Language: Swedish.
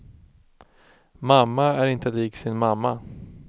Mamma är inte lik sin mamma.